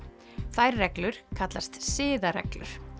þær reglur kallast siðareglur